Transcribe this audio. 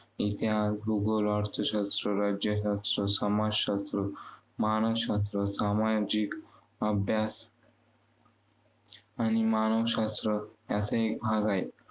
इतिहास, भूगोल, अर्थशास्त्र, राज्यशास्त्र, समाजशास्त्र, मानशशास्त्र, समाजिक अभ्यास आणि मानशशास्त्र याचा एक भाग आहे.